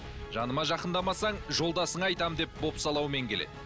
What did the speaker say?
жаныма жақындамасаң жолдасыңа айтамын деп бопсалаумен келеді